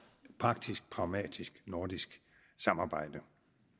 praktisk pragmatisk nordisk samarbejde